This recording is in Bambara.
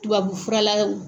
Tubabufurala.